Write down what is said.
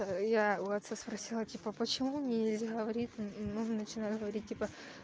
я у отца спросила типа почему нельзя говорить нужно начинать говорить типа